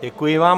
Děkuji vám.